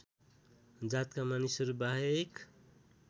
जातका मानिसहरू बाहेक